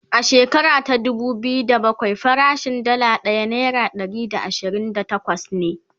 a shekara ta dubu biyu da bakwai farashin Dalla ɗaya naira Ɗari da ashirin da takwas ne